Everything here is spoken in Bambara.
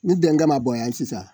Ni bɛn ka na bɔ yan sisan